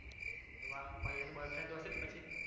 વાહ college માં તો બોયફ્રેન્ડો હશે જ પછી